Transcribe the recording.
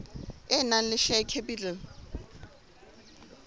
e nang le share capital